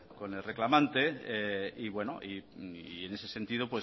con el reclamante y bueno en ese sentido